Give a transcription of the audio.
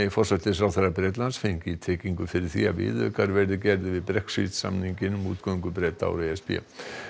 forsætisráðherra Bretlands fengi tryggingu fyrir því að viðaukar verði gerðir við Brexit samninginn um útgöngu Breta úr e s b